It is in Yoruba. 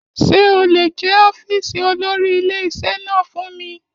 Ṣé o lè jẹ́ ọ́fíìsì olórí ilé-iṣẹ́ náà fún mi.